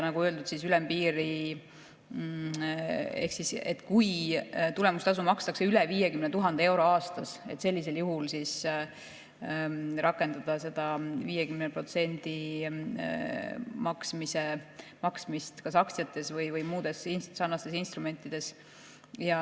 Nagu öeldud, kui tulemustasu makstakse üle 50 000 euro aastas, siis sellisel juhul tuleks rakendada seda 50% maksmist kas aktsiates või muudes sarnastes instrumentides.